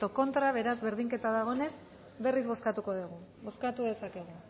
contra beraz berdinketa dagoenez berriz bozkatuko dugu bozkatu dezakegu